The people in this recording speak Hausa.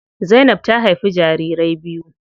Zainab ta haifi jarirai biyu.